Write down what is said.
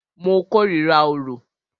Mo kòrira orò.